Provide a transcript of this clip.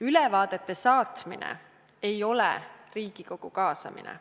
Ülevaadete saatmine ei ole Riigikogu kaasamine.